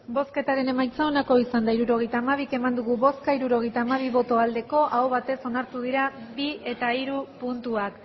hirurogeita hamabi eman dugu bozka hirurogeita hamabi bai aho batez onartu dira bi eta hiru puntuak